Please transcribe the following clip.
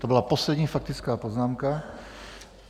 To byla poslední faktická poznámka.